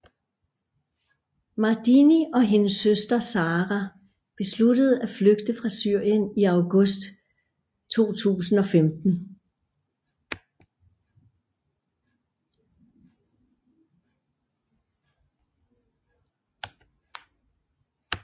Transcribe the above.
Mardini og hendes søster Sara besluttede at flygte fra Syrien i august 2015